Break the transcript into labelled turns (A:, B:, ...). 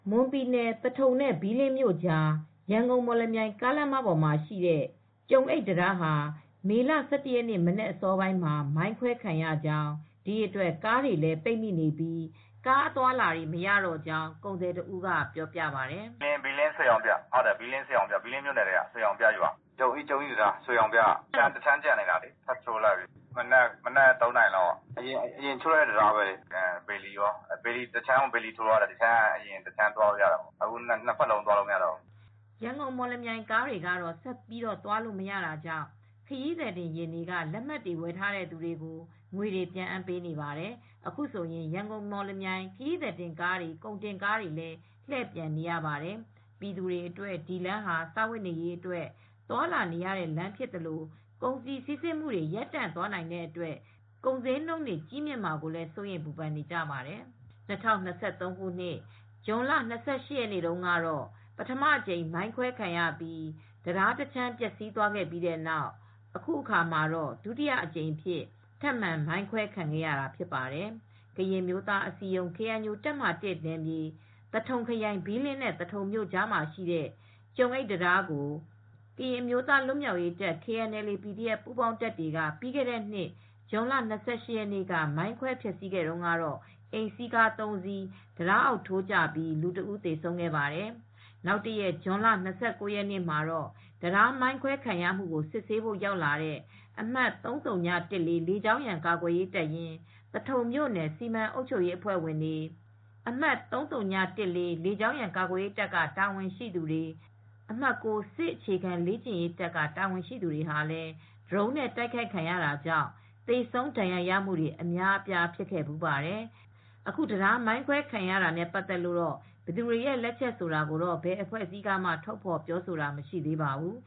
A: မွန်ပြည်နယ် သထုံနဲ့ ဘီးလင်းမြို့နယ်ကြား ရန်ကုန်-မော်လမြိုင် ကားလမ်းပေါ်မှာရှိတဲ့ ကျုံအိတ်တံတားဟာမေလ ၁၁ ရက်နေ့ မနက်အစောပိုင်းမှာပဲ မိုင်းခွဲခံရကြောင်း ဒီအတွက် ကားတွေလည်း ပိတ်မိနေပြီး ကားအသွားအလာတွေ မရတော့ကြောင်း ကုန်သည်တဦးက ပြောပါတယ်။ " ဘီးလင်း ရွှေရောင်ပြ ၊ ဘီးလင်းမြို့နယ်ထဲက ရွှေရောင်ပြရွာက ကျုံးအိတ်တံတားပေါ့။ တခြမ်းကျန်နေတာလေ တံတားကို ဆက်ချိုးလိုက်တာ အရင်တုန်းက တံတားကတခြမ်းကျန်နေတာလေ မနက် ၃ နာရီလောက်ကပေါ့ အရင်တခြမ်းကျန်နေတာ တံတားကိုဘေလီ(သံတံတား) ထိုးတာတာ အခုကတော့ တခြမ်းက အရင်က သွားလို့ရတယ် အခုထပ်ချိုးလိုက်တော့ နှစ်ဖက်လုံးသွားမရတော့ဘူး။" ရန်ကုန် မော်လမြိုင်ကားတွေကတော့ ဆက်သွားလို့ မရတော့တာကြောင့် ခရီးသည်တင်ယာဉ်တွေက လက်မှတ်တွေ ဝယ်ထားတဲ့သူတွေကို ငွေတွေ ပြန်အမ်းပေးနေပါတယ်။ အခုဆိုရင် ရန်ကုန် မော်လမြိုင်ခရီးသည် ကားတွေ ကုန်တင်ကားတွေလည်း လှည့်ပြန်နေရပါတယ်။ ပြည်သူ ေတွအတွက် ဒီလမ်းဟာ စားဝတ်နေရေးအတွက် သွားလာနေရတဲ့ လမ်းဖြစ်သလို ကုန်စည် စီးဆင်းမူတွေ ရပ်တန့်သွားနိုင်တဲ့အတွက် ကုန်စျေးနှုန်း ကြီးမြင့်မှာကို စိုးရိမ်ပူပန်နေကြပါတယ်။ ၂၀၂၃ ခုနှစ် ဇွန်လ ၂၈ ရက်တုန်းကတော့ ပထမအကြိမ် မိုင်းခွဲခံရပြီး တံတားတခြမ်း ပျက်စီးသွားခဲ့ပြီးနောက် အခုအခါမှာ ဒုတိယအကြိမ်အဖြစ် ထပ်မံ မိုင်းခွဲ ခံရခြင်းဖြစ်ပါတယ်။ ကရင်အမျိုးသားအစည်းအရုံး KNU တပ်မဟာ(၁)နယ်မြေ သထုံခရိုင် ဘီးလင်းနဲ့ သထုံမြို့အကြားက ကျုံအိတ်တံတားကို ကရင်အမျိုးသားလွတ်မြောက်ရေးတပ် KNLA/PDF ပူးပေါင်းတပ်တွေက ပြီးခဲတဲ့နှစ် ဇွန်လ ၂၈ ရက်နေ့က မိုင်းခွဲ ဖျက်ဆီးခဲ့တုန်းကတော့ အိမ်စီးကား ၃ စီး တံတားအောက် ထိုးကျပြီး လူတဦး သေဆုံးခဲ့ပါတယ်။ နောက်တရက် ဇွန်လ ၂၉ ရက်နေ့မှာတော့ တံတား မိုင်းခွဲခံရတာကို စစ်ဆေးဖို့ရောက်လာတဲ့ အမှတ် ၃၀၁၄ လေကြောင်းရန်ကာကွယ်ရေး တပ်ရင်း၊ သထုံမြို့နယ် စီမံအုပ်ချုပ်ရေး အဖွဲ့ဝင်တွေ၊ အမှတ် ၃၀၁၄ လေကြောင်းရန် ကာကွယ်ရေးတပ်က တာဝန်ရှိသူတွေ၊ အမှတ် ၉ စစ်အခြေခံ လေ့ကျင့်ရေးတပ်က တာဝန်ရှိသူတွေဟာလည်း ဒရုန်းနဲ့ တိုက်ခိုက်ခံရတာကြောင့် သေဆုံးဒဏ်ရာရတာတွေ အများအပြားဖြစ်ခဲ့ဖူးပါတယ် ။ အခု တံတားမိုင်းခဲွ ခံရတာနဲ့ပတ်သက်လို့တော့ ဘယ်သူတွေရဲ့ လက်ချက်ဖြစ်တယ် ဆိုတာကိုတော့ ဘယ်အဖဲွ့အစည်းမှ ထုတ်ဖော်ပြောဆိုတာ မရှိသေးပါဘူး